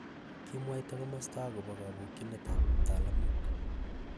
Kimwaita komosto akobo kapokyineetaab ptalamook